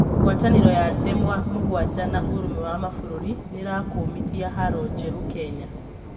ngwatanĩro ya ndemwa mũgwanja na ũrũmwe wa mabũrũri nĩrakũmĩthia haro njeru Kenya